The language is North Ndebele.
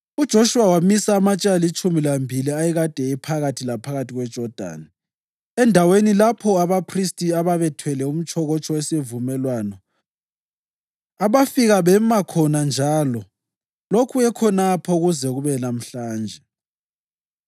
UJoshuwa wamisa amatshe alitshumi lambili ayekade ephakathi laphakathi kweJodani, endaweni lapho abaphristi ababethwele umtshokotsho wesivumelwano abafika bema khona njalo lokhu ekhonapho kuze kube lamhlanje.